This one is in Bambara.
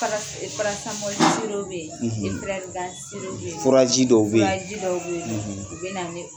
paraci paracimɔli siro bɛ ye efiraligan siro bɛ ye furaji dɔw bɛ ye furaji dɔw bɛ ye u bɛ na o